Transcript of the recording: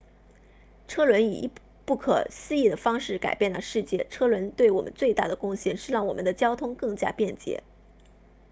车轮以不可思议的方式改变了世界车轮对我们最大的贡献是让我们的交通更加便捷